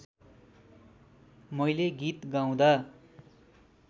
मैले गीत गाउँदा